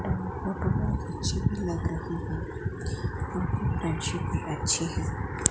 Photo बहोत अच्छे लग रहे हैं भी अच्छे है।